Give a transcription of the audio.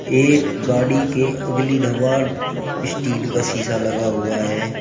एक गाड़ी के अगली स्टील का सीसा लगा हुआ है।